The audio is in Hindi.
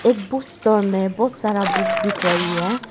बुक स्टोर में बहुत सारा बुक दिख रही है।